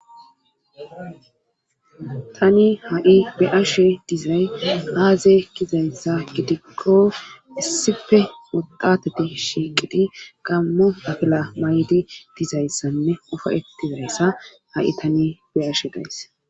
Tani ha7i be ashe dizay aaze kizayssa gidikko issife modatati shiiqidi gammo afila may7di dizayssanne ofa ettizayssa ha7i tani be ashe gays.